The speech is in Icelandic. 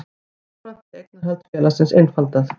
Jafnframt sé eignarhald félagsins einfaldað